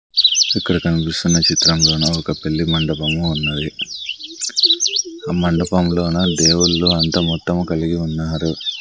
ఇక్కడ కనిపిస్తున్న చిత్రంలోన ఒక పెళ్లి మండపము ఉన్నది ఆ మండపంలోన దేవుళ్ళు అంతా మొత్తము కలిగి ఉన్నారు.